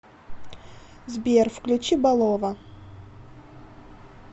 сбер включи балова